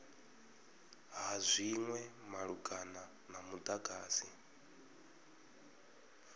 ha zwinwe malugana na mudagasi